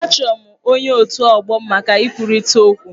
Achọrọ m ọnye otù ọgbọ m maka ikwurịta okwu.